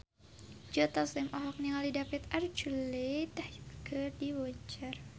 Joe Taslim olohok ningali David Archuletta keur diwawancara